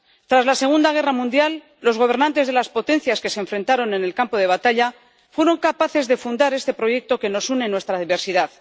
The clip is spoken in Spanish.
Tras la Segunda Guerra Mundial, los gobernantes de las potencias que se enfrentaron en el campo de batalla fueron capaces de fundar este proyecto que nos une en nuestra diversidad.